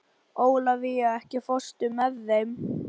Ólafía, ekki fórstu með þeim?